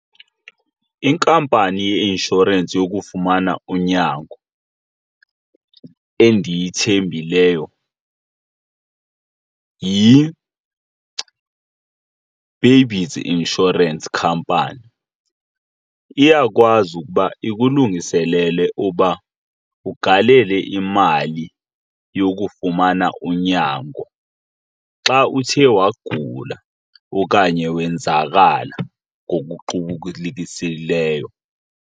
Inkampani yeinshorensi yokufumana unyango endiyithembileyo insurance company. Iyakwazi ukuba ikulungiselele uba ugalele imali yokufumana unyango xa uthe wagula okanye wenzakala ngokuqubulisekileyo.